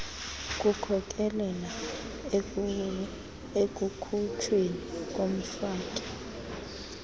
kukhokelela ekukhutshweni komfaki